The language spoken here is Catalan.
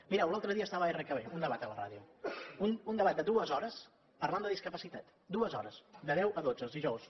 mireu l’altre dia estava a rkb un debat a la ràdio un debat de dues hores parlant de discapacitat dues hores de deu a dotze els dijous